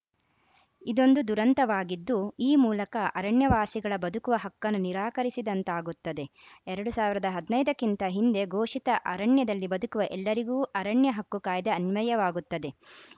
ಇದೊಂದು ದುರಂತವಾಗಿದ್ದು ಈ ಮೂಲಕ ಅರಣ್ಯ ವಾಸಿಗಳ ಬದುಕುವ ಹಕ್ಕನ್ನು ನಿರಾಕರಿಸಿದಂತಾಗುತ್ತದೆ ಎರಡ್ ಸಾವಿರದ ಐದ ಕ್ಕಿಂತ ಹಿಂದೆ ಘೋಷಿತ ಅರಣ್ಯದಲ್ಲಿ ಬದುಕುವ ಎಲ್ಲರಿಗೂ ಅರಣ್ಯ ಹಕ್ಕು ಕಾಯ್ದೆ ಅನ್ವಯವಾಗುತ್ತದೆ